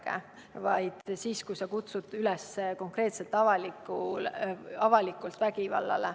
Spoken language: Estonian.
See järgneb siis, kui sa kutsud konkreetselt ja avalikult üles vägivallale.